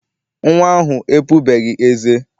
Nnwa ahụ epubeghị eze.